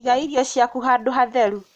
Iga irio ciaku handū hatheru